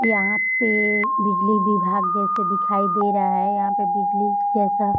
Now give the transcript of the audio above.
यहां पे बिजली विभाग जैसे दिखाई दे रहा है यहां पे बिजली जैसा --